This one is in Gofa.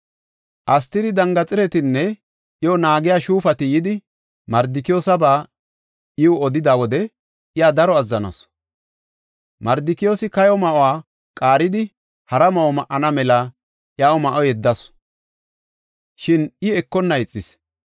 Astiri dangirixetinne iyo naagiya shuufati yidi, Mardikiyoosaba iw odida wode iya daro azzanasu. Mardikiyoosi kayo ma7uwa qaaridi, hara ma7o ma7ana mela iyaw ma7o yeddasu; shin I ekonna ixis.